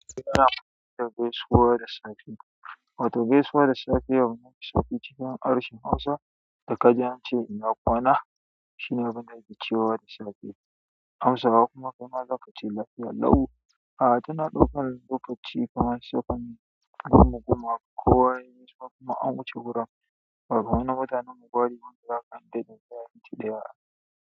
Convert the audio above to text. Da hausa da kaji ance ina kwana shine abunda da ake cewa da safe, hausawa kuma kai ma zaka ce lafiya lau, ah tana ɗaukan lokaci kamar second goma goma kowa yai gaisuwa an wuce wurin ba ruwan.